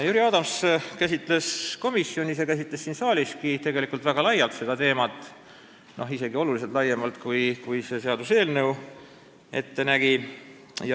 Jüri Adams käsitles komisjonis ja siin saaliski seda teemat väga laialt, isegi oluliselt laiemalt, kui see seaduseelnõu ette nägi.